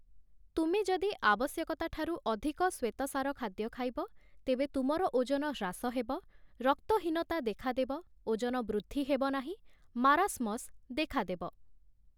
ତୁମେ ଯଦି ଆବଶ୍ୟକତା ଠାରୁ ଅଧିକ ଶ୍ଵେତସାର ଖାଦ୍ୟ ଖାଇବ ତେବେ ତୁମର ଓଜନହ୍ରାସ ହେବ, ରକ୍ତହୀନତା ଦେଖାଦେବ, ଓଜନ ବୃଦ୍ଧି ହେବ ନାହିଁ, ମାରାସ୍ମସ୍ ଦେଖାଦେବ ।